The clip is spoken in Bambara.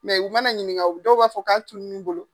u mana ɲininka u dɔw b'a fɔ k'a tununu bolo.